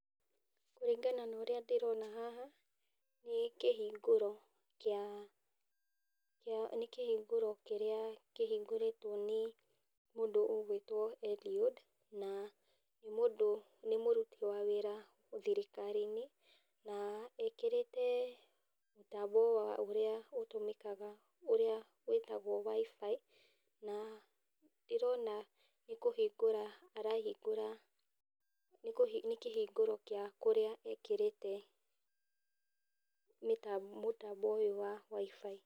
Kũringana na ũrĩa ndĩrona haha, nĩ kĩhingũro kĩa, nĩ kĩhingũro kĩrĩa kĩhingũrĩtwo nĩ mũndũ ũgwĩtwo Eliud, na nĩ mũndũ, nĩ mũruti wĩra thirikari-inĩ, na ekĩrĩte mũtambo ũrĩa ũtũmĩkaga wĩtagwo wifi na ndĩrona nĩkũhingũra arahingũra, kĩhingũro gĩa kũrĩa ekĩrĩte mũtambo ũyũ wa wifi.